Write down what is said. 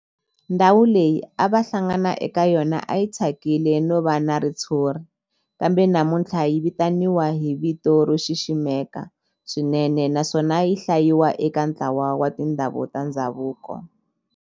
Ndhawu leyi a va hlangana ka yona a yi thyakile no va na ritshuri kambe namuntlha yi vitaniwa hi vito ro xiximeka swinene naswona yi hlayiwa eka ntlawa wa tindhawu ta ndhavuko.